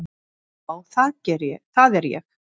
Já, það er ég!